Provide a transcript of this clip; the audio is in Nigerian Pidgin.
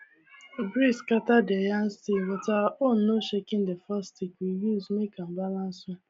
breeze scatter their yam stick but our own no shakena the forked stick we use make am balance well